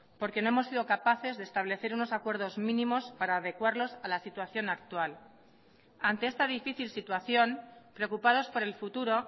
porque no hemos sido capaces de establecer unos acuerdos mínimos para adecuarlos a la situación actual ante esta difícil situación preocupados por el futuro